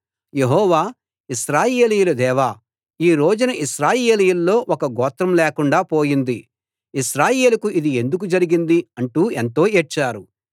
యెహోవా ఇశ్రాయేలీయుల దేవా ఈ రోజున ఇశ్రాయేలీయుల్లో ఒక గోత్రం లేకుండా పోయింది ఇశ్రాయేలుకు ఇది ఎందుకు జరిగింది అంటూ ఎంతో ఏడ్చారు